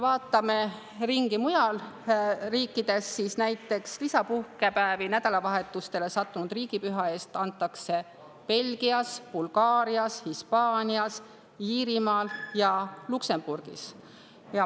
Vaatame ringi mujal riikides: lisapuhkepäevi nädalavahetusele sattunud riigipüha puhul antakse näiteks Belgias, Bulgaarias, Hispaanias, Iirimaal ja Luksemburgis.